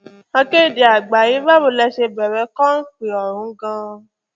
akéde àgbàyẹ bàwò lẹ ṣe bẹ̀rẹ̀ ọhún gan